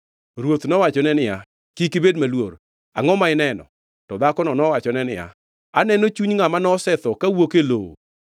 Ruoth nowachone niya, “Kik ibed maluor. Angʼo ma ineno?” To dhakono nowachone niya, “Aneno chuny ngʼama nosetho kawuok e lowo.”